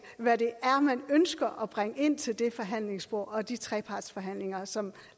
hvad man ønsker at bringe ind til det forhandlingsbord og de trepartsforhandlinger som